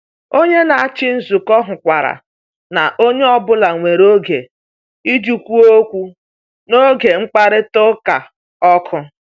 Onye na-achị nzukọ hụkwara na onye ọ bụla nwere oge iji kwuo okwu n’oge mkparịta ụka ọkụ.